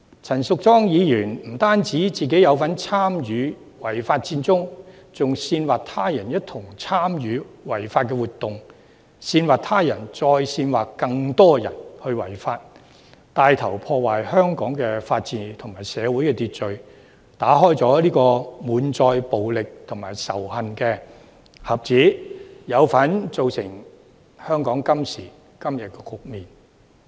陳淑莊議員不單參與違法佔中，更煽惑他人一同參與違法活動，煽惑他人再煽惑更多人違法，牽頭破壞香港的法治和社會秩序，打開滿載暴力和仇恨的盒子，有份造成香港今時今日的局面。